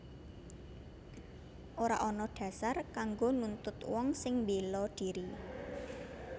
Ora ana dhasar kanggo nuntut wong sing mbéla dhiri